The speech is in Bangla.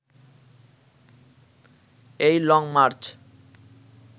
এই লং মার্চ